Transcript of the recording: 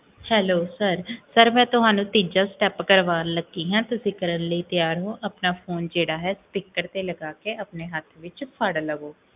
Hello hello sir ਮੈਂ ਤੁਹਾਨੂ ਤੀਜਾ ਸ੍ਟੇਪ ਕਰਵਾਨ ਲਗੀ ਹਾਂ, ਤੁਸੀਂ ਕਰਨ ਲਈ ਤਿਆਰ ਹੋ? ਆਪਣਾ ਫੋਨ ਜੇਹੜਾ ਹੈ speaker ਤੇ ਲਗਾ ਕੇ ਆਪਣੇ ਹਥ ਵਿੱਚ ਫ੍ੜ ਲਵੋ